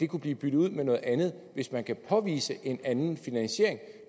kunne blive byttet ud med noget andet hvis man kan påvise en anden finansiering